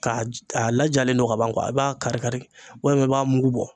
Ka a lajalen don ka ban kuwa a b'a kari kari walima i b'a mugu bɔ